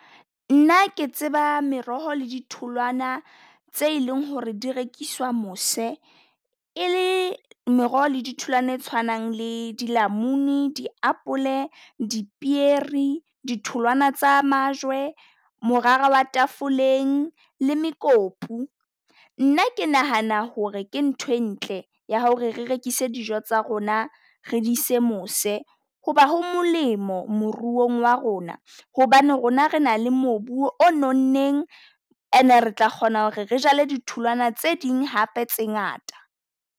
Nna ke tseba meroho le di tholwana tse e leng ho re di rekiswa mose, e le meroho di tholwana e tshwanang le dilamuni, diapole, dipieri, di tholwana tsa majwe, morara tafoleng le mekopu. Nna ke nahana ho re ke nthwe ntle ya ho re re rekise dijo tsa rona, re di ise mose hoba ho molemo moruong wa rona. Hobane rona re na le moruo o nonneng and-e re tla kgona ho re re jale ditholwana tse ding hape tse ngata.